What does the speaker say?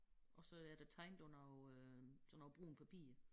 Og så er der tegnet på noget øh sådan noget brunt papir